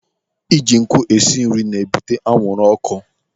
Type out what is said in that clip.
Ị ji nkụ esi nri na-ebute anwụrụ ọkụ.